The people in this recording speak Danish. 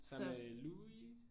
Sammen med Louis?